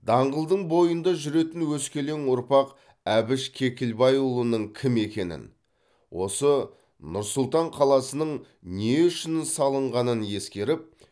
даңғылдың бойында жүретін өскелең ұрпақ әбіш кекілбайұлының кім екенін осы нұр сұлтан қаласының не үшін салынғанын ескеріп